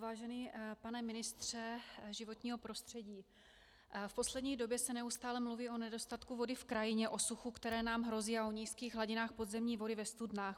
Vážený pane ministře životního prostředí, v poslední době se neustále mluví o nedostatku vody v krajině, o suchu, které nám hrozí, a o nízkých hladinách podzemní vody ve studnách.